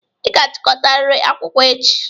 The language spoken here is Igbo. Ị ga-achịkọtariri akwụkwọ echi!